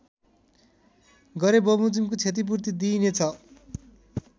गरेबमोजिमको क्षतिपूर्ति दिइनेछ